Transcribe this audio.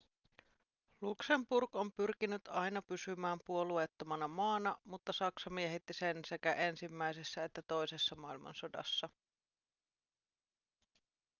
luxemburg on pyrkinyt aina pysymään puolueettomana maana mutta saksa miehitti sen sekä ensimmäisessä että toisessa maailmansodassa